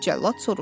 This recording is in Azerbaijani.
Cəllad soruşdu.